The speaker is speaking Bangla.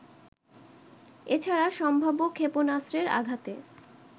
এছাড়া সম্ভাব্য ক্ষেপণাস্ত্রের আঘাতে